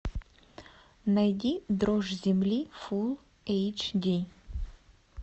найди дрожь земли фул эйч ди